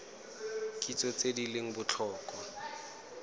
kitso tse di leng botlhokwa